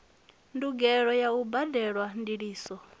ndugelo ya u badelwa ndiliso